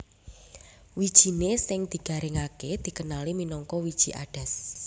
Wijiné sing digaringaké dikenali minangka wiji adas